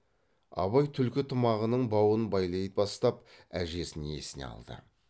абай түлкі тымағының бауын байлай бастап әжесін есіне алды